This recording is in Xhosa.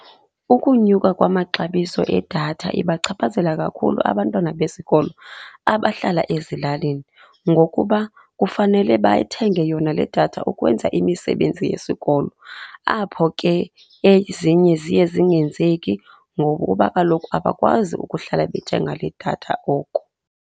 Ukunyuka kwamaxabiso edatha ibachaphazela kakhulu abantwana besikolo abahlala ezilalini ngokuba kufanele bathenge yona le datha ukwenza imisebenzi yesikolo, apho ke ezinye ziye zingenzeki ngokuba kaloku abakwazi ukuhlala bethenga le datha oko.